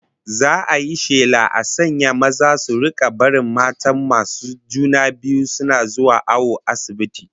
Za'a yi shela a sanya maza su rika barin matan masu juna biyu suna zuwa awo asibiti